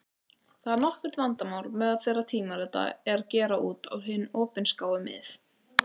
Þetta er nokkurt vandamál meðal þeirra tímarita er gera út á hin opinskáu mið.